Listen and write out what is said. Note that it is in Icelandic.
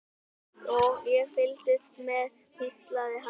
Ég fylgist með, hvíslaði hann.